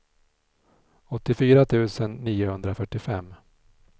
åttiofyra tusen niohundrafyrtiofem